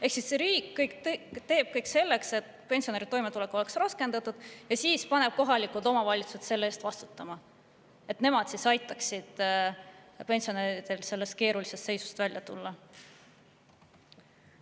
Ehk siis riik teeb kõik selleks, et pensionäride toimetulek oleks raskendatud, ja siis paneb kohalikud omavalitsused selle eest vastutama, et nemad aitaksid pensionäridel sellest keerulisest seisust välja tulla.